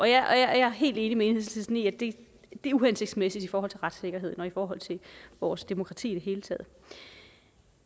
jeg er helt enig med enhedslisten i at det er uhensigtsmæssigt i forhold til retssikkerheden og i forhold til vores demokrati i det hele taget